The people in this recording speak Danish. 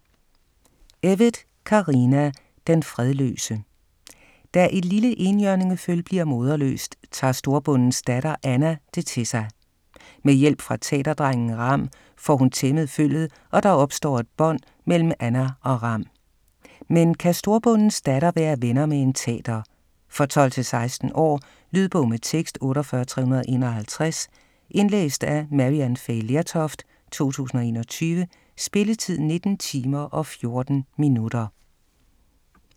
Evytt, Carina: Den fredløse Da et lille enhjørningeføl bliver moderløst, tager storbondens datter Anna det til sig. Med hjælp fra tater-drengen Rham får hun tæmmet føllet og der opstår et bånd mellem Anna og Rham. Men kan storbondens datter være venner med en tater? For 12-16 år. Lydbog med tekst 48351 Indlæst af Maryann Fay Lertoft, 2021. Spilletid: 19 timer, 14 minutter.